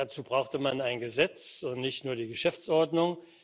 Dazu brauchte man ein Gesetz und nicht nur die Geschäftsordnung.